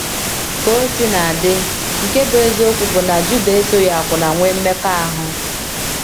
Ka o sina dị, nke bụ́ eziokwu bụ na Juda esoghị akwụna nwee mmekọahụ.